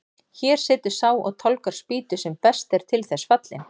Hér situr sá og tálgar spýtu sem best er til þess fallinn.